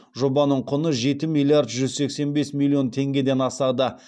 жобаның құны жеті миллиард жүз сексен бес миллион теңгеден асады